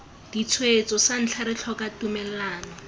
ditshwetso santlha re tlhoka tumellano